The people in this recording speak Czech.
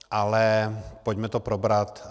Ale pojďme to probrat.